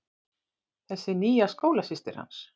Þessi nýja skólasystir hans.